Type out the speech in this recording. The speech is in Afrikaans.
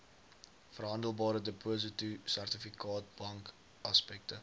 verhandelbare depositosertifikate bankaksepte